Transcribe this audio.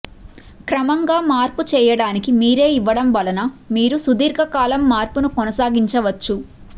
క్రమంగా మార్పు చేయడానికి మీరే ఇవ్వడం వలన మీరు సుదీర్ఘకాలం మార్పును కొనసాగించవచ్చు